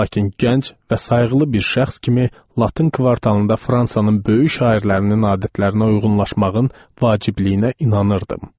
Lakin gənc və sayıqlı bir şəxs kimi Latın kvartalında Fransanın böyük şairlərinin adətlərinə uyğunlaşmağın vacibliyinə inanırdım.